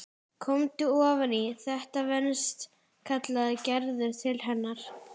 Komdu ofan í, þetta venst kallaði Gerður til hennar.